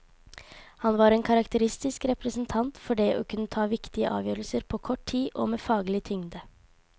Han var en karakteristisk representant for det å kunne ta viktige avgjørelser på kort tid og med faglig tyngde.